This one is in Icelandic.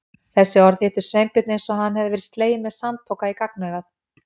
Þessi orð hittu Sveinbjörn eins og hann hefði verið sleginn með sandpoka í gagnaugað.